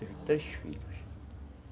Teve três filhos.